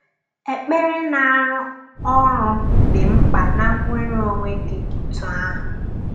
Ekpere na-arụ ọrụ dị mkpa na nnwere onwe dị otú ahụ.